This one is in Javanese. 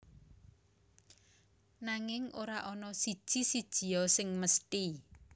Nanging ora ana siji sijia sing mesthi